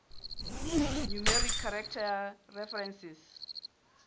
numeric character references